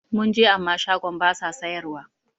Mun je amma shagon basa sayar wa